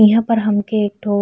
इहाँ पर हमके एक ठो --